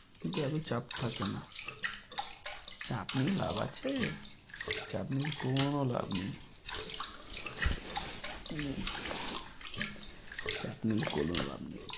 কিন্তু এতো চাপ থাকে না চাপ নিয়ে লাভ আছে? চাপ নিয়ে কোনো লাভ নেই চাপ নিলে কোনো লাভ নেই।